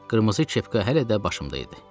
Qırmızı kepka hələ də başımda idi.